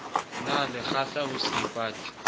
na le kgahla ho seipati